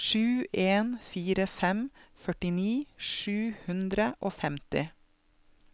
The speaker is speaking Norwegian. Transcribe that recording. sju en fire fem førtini sju hundre og femti